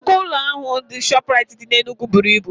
Nnukwu ụlọ ahịa ShopRite dị N'Enugu buru ibu.